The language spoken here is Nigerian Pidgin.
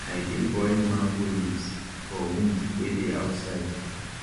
i dey boil mango leaves for wound wey dey outside